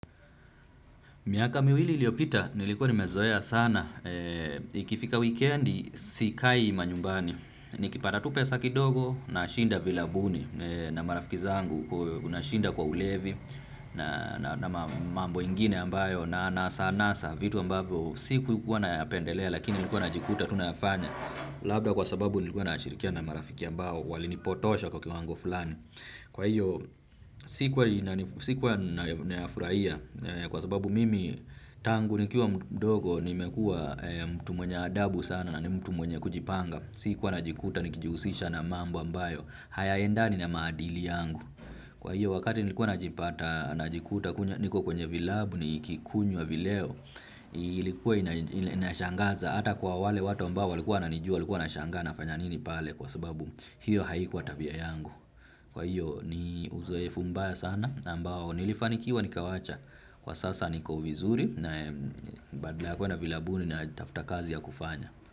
Miaka miwili iliyopita, nilikuwa nimezoea sana. Ikifika wikendi, sikai manyumbani. Nikipata tu pesa kidogo nashinda virabuni na marafiki zangu. Nashinda kwa ulevi na mambo ingine ambayo. Na anasa anasa vitu ambavyo sikuikuwa nayapendelea lakini nilikuwa najikuta tu nafanya. Labda kwa sababu nilikuwa nashirikiana na marafiki ambao walinipotosha kwa kiwango fulani. Kwa hiyo sikuwa nayafurahia kwa sababu mimi tangu nikiwa mdogo nimekuwa mtu mwenye adabu sana na mtu mwenye kujipanga. Sikuwa najikuta nikijihusisha na mambo ambayo hayaendani na maadili yangu. Kwa hiyo wakati nilikuwa najipata najikuta niko kwenye vilabu nikikunywa vileo. Ilikuwa inashangaza hata kwa wale watu ambao walikuwa wananijua walikuwa wanashangaa nafanya nini pale kwa sababu hiyo haikuwa tabia yangu. Kwa hiyo ni uzoefu mbaya sana na ambao nilifanikiwa nikawacha kwa sasa niko vizuri na badala ya kuenda vilabuni natafuta kazi ya kufanya.